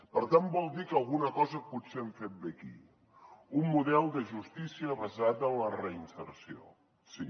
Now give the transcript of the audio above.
per tant vol dir que alguna cosa potser hem fet bé aquí un model de justícia basat en la reinserció sí